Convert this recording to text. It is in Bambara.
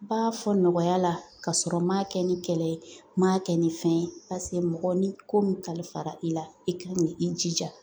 N b'a fɔ nɔgɔya la kasɔrɔ n m'a kɛ ni kɛlɛ ye n m'a kɛ ni fɛn ye mɔgɔ ni ko mun kalifara i la i ka i jija